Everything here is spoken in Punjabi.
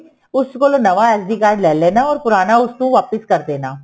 ਉਹ ਕੋਲੋ ਨਵਾਂ SD card ਲੈ ਲੈਣਾ or ਪੁਰਾਣਾ ਉਸ ਨੂੰ ਵਾਪਿਸ ਕਰ ਦੇਣਾ